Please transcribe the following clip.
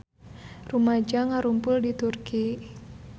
Rumaja ngarumpul di Turki